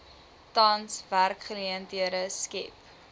tans werksgeleenthede skep